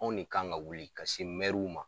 Anw ne kan ka wuli ka se ma